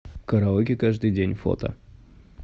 караоке каждый день фото